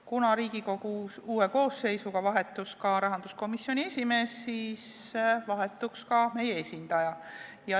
Kuna Riigikogu uue koosseisu valimise tõttu vahetus rahanduskomisjoni esimees, siis vahetub ka meie esindaja.